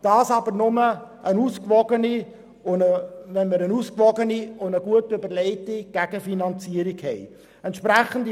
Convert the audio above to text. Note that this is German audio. Das aber nur, wenn wir eine gut ausgewogene und gut überlegte Gegenfinanzierung haben.